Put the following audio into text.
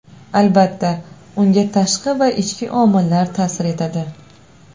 Albatta, unga tashqi va ichki omillar ta’sir etadi.